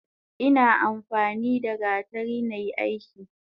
Ina amfanida gatari nai aiki.